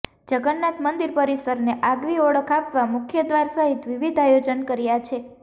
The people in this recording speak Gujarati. જગન્નાથ મંદિર પરિસરને આગવી ઓળખ આપવા મુખ્યદ્વાર સહિત વિવિધ આયોજન કર્યા છે